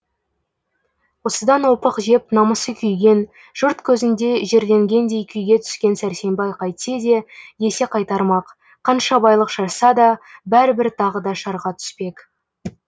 осыдан опық жеп намысы күйген жұрт көзінде жерленгендей күйге түскен сәрсенбай қайтсе де есе қайтармақ қанша байлық шашса да бәрібір тағы да шарға түспек